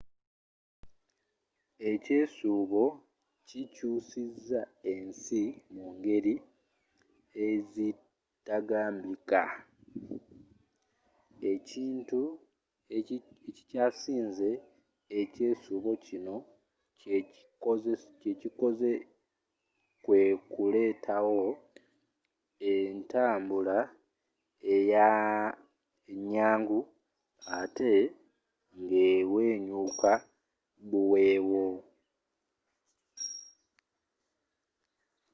ekyesuubo kikyusiza ensi mu ngeri ezitagambika.ekintu ekikyasinze ekyesuubo kino kyekikoze kwekuleetawo entambula enyangu ate ngewenyuka buweewo